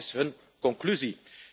En wat is hun conclusie?